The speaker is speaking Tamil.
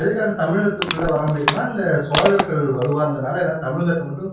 எதுக்காக தமிழகத்துக்குள்ள வர முடியலை ஏன்னா இந்த சோழர்கள் வலுவா இருந்ததால என்னால தமிழகத்துல மட்டும்